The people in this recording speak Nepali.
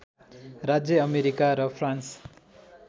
राज्य अमेरिका र फ्रान्स